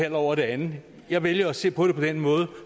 ind over det andet jeg vælger at se på det på den måde